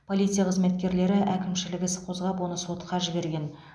полиция қызметкерлері әкімшілік іс қозғап оны сотқа жіберген